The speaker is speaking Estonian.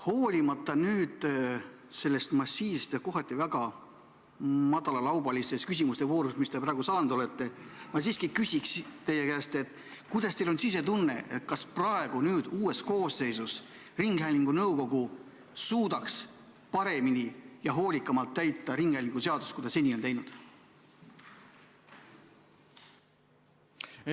Hoolimata sellest massiivsest ja kohati väga madalalaubalisest küsimuste voorust, mis teile praegu osaks on saanud, küsin ma teie käest siiski järgmist: milline on teie sisetunne, kas uues koosseisus ringhäälingunõukogu suudaks ringhäälingu seadust täita paremini ja hoolikamalt, kui seni on tehtud?